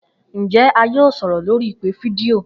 Njẹ a yoo sọrọ lori ipe fidio?